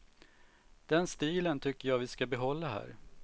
Den stilen tycker jag vi ska behålla här.